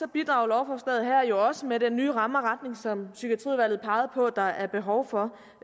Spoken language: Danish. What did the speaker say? bidrager lovforslaget her også med den nye ramme og retning som psykiatriudvalget pegede på der er behov for